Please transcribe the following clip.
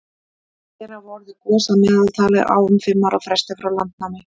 hér hafa orðið gos að meðaltali á um fimm ára fresti frá landnámi